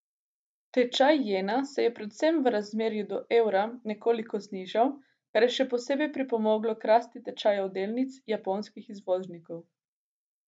Tečaj jena se je predvsem v razmerju do evra nekoliko znižal, kar je še posebej pripomoglo k rasti tečajev delnic japonskih izvoznikov.